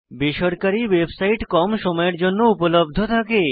বেসরকারী ওয়েবসাইট কম সময়ের জন্য উপলব্ধ থাকে